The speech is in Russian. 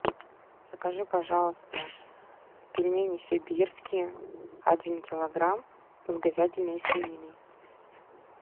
закажи пожалуйста пельмени сибирские один килограмм с говядиной и свининой